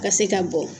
Ka se ka bɔ